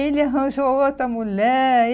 Ele arranjou outra mulher.